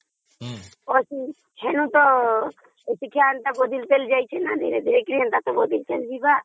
ତା ପରଠୁ ଶିକ୍ଷା ବ୍ୟବସ୍ଥା ପୁରା ବଦଳି ଯାଇଛି ନା